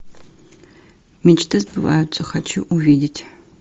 мечты сбываются хочу увидеть